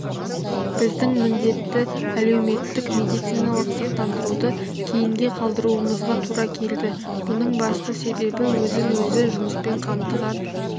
біздің міндетті әлеуметтік медициналық сақтандыруды кейінге қалдыруымызға тура келді бұның басты себебі өзін өзі жұмыспен қамтыған